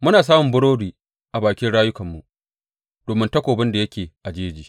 Muna samun burodi a bakin rayukanmu domin takobin da yake a jeji.